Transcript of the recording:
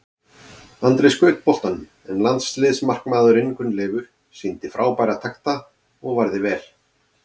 Andri skaut boltanum en landsliðsmarkmaðurinn Gunnleifur sýndi frábæra takta og varði vel.